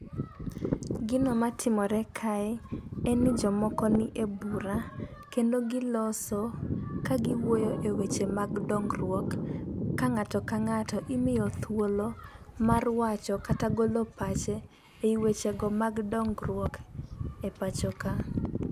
Gino matimore kae en ni jomoko nie bura kendo giloso ka gi wuoyo weche mag dongruok ka ng'ato ka ng'ato imiyo thuolo mar wacho kata golo pache eweche go mag dongruok e pacho ka.